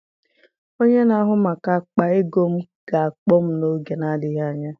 Onye na-ahụ maka akpa ego m ga-akpọ m n'oge na-adịghị anya.